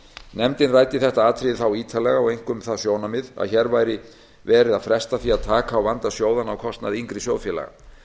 nefndin ræddi þetta atriði þá ítarlega og einkum það sjónarmið að hér væri verið að fresta því að taka á vanda sjóðanna á kostnað yngri sjóðfélaga